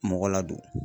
Mɔgɔ ladon